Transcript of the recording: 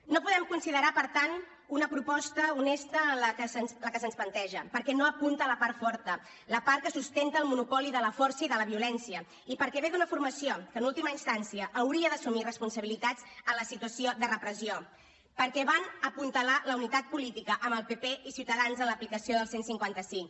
no podem considerar per tant una proposta honesta la que se’ns planteja perquè no apunta la part forta la part que sustenta el monopoli de la força i de la violència i perquè ve d’una formació que en última instància hauria d’assumir responsabilitats en la situació de repressió perquè van apuntalar la unitat política amb el pp i ciutadans en l’aplicació del cent i cinquanta cinc